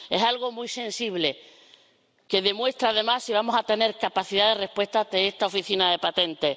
Es algo muy sensible, que muestra además si vamos a tener capacidad de respuesta ante esta oficina de patentes.